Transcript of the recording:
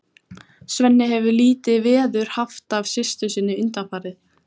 Svenni hefur lítið veður haft af systur sinni undanfarið.